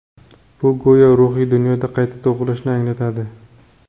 Bu go‘yo ruhiy dunyoda qayta tug‘ilishni anglatadi.